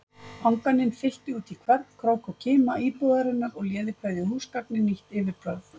Anganin fyllti útí hvern krók og kima íbúðarinnar og léði hverju húsgagni nýtt yfirbragð.